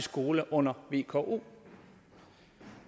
skole under vko